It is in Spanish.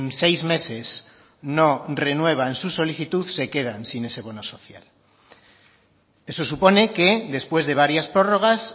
seis meses no renuevan su solicitud se quedan sin ese bono social eso supone que después de varias prórrogas